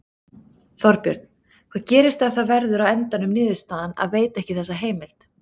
Þorbjörn: Hvað gerist ef að það verður á endanum niðurstaðan að veita ekki þessa heimild?